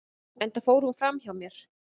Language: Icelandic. enda fór hún fram hjá mér